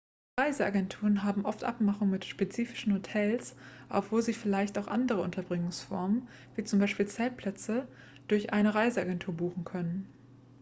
reiseagenturen haben oft abmachungen mit spezifischen hotels obwohl sie vielleicht auch andere unterbringungsformen wie zum beispiel zeltplätze durch eine reiseagentur buchen können.x